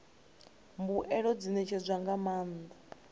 mbuelo dzi ṋetshedzwa nga maanḓa